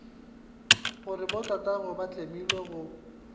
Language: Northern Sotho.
gore botatagwe ba tlemile go